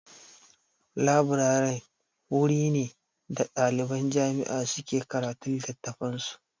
Leburare wuri ne da ɗaliban jami'a suke karatun littafan su